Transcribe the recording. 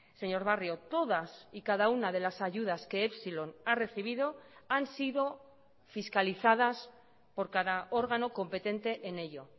señor barrio todas y cada una de las ayudas que epsilon ha recibido han sido fiscalizadas por cada órgano competente en ello